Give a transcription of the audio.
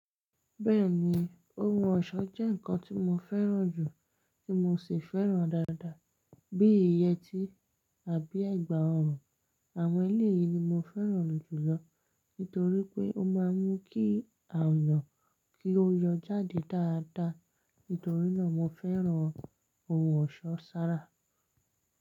Bẹ́ẹ̀ni, ohun ọ̀ṣọ́ jẹ́ nǹkan tó mo fẹ́ràn jù, tí mo sì fẹ́ràn dáadáa bí i yẹtí àbí ẹ̀gbà ọrùn. Àwọn eléyìí ni mo fẹ́ràn jùlọ nítorí pé ó máa ń mú kí àyàn kí ó yọ jáde dáadáa. Nítorí náà, mo fẹ́ràn ohun ọ̀ṣọ́ sára.